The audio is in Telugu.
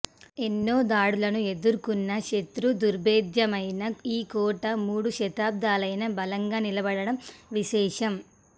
ఎన్నో దాడులను ఎదుర్కొన్న శత్రుదుర్భేద్యమైన ఈ కోట మూడు శతాబ్ధాలైనా బలంగా నిలబడడం విశేషం